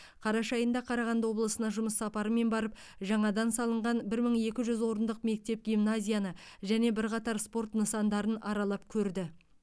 қараша айында қарағанды облысына жұмыс сапарымен барып жаңадан салынған бір мың екі жүз орындық мектеп гимназияны және бірқатар спорт нысандарын аралап көрді